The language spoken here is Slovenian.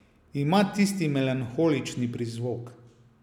Ima tisti melanholični prizvok.